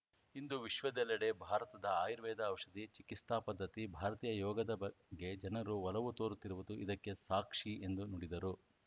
ಇಂದು ವಿಶ್ವದೆಲ್ಲೆಡೆ ಭಾರತದ ಆಯುರ್ವೇದ ಔಷಧಿ ಚಿಕಿಸ್ತಾ ಪದ್ಧತಿ ಭಾರತೀಯ ಯೋಗದ ಬಗ್ಗೆ ಜನರು ಒಲವು ತೋರುತ್ತಿರುವುದು ಇದಕ್ಕೆ ಸಾಕ್ಷಿ ಎಂದು ನುಡಿದರು